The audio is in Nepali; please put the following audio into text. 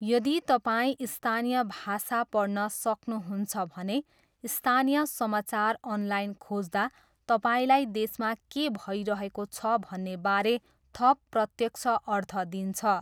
यदि तपाईँ स्थानीय भाषा पढ्न सक्नुहुन्छ भने, स्थानीय समाचार अनलाइन खोज्दा तपाईँलाई देशमा के भइरहेको छ भन्नेबारे थप प्रत्यक्ष अर्थ दिन्छ।